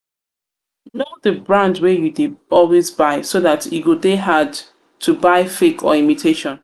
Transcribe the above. know di brand wey you dey always buy so dat e go dey hard to buy fake or imitation